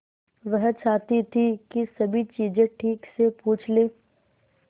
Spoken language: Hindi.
वह चाहती थी कि सभी चीजें ठीक से पूछ ले